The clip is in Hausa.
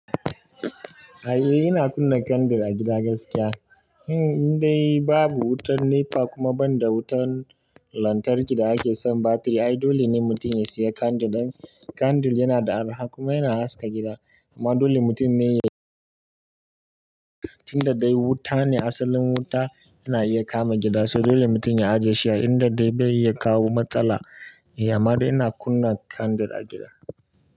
A'a ina kunna kandil a gida gaskiya. Indai babu wutar NEPA kuma banda wutan lantarki da ake san batiri, ai dole ne mutum ya siya kandil. Kandil yana da arha kuma yana haska gida. Amma dole mutum ne inda dai wuta ne asalin wuta yana iya kama gida, so dole mutum ya ajiye shi a inda dai bai iya kawo matsala. Amadai ina kunna kandil a gida.